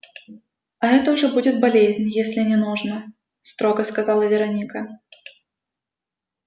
а это уже будет болезнь если не нужно строго сказала вероника